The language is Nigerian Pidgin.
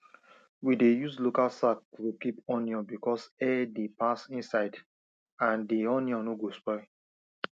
we dey use local sack to keep onion because air dey pass inside and di onion no go spoil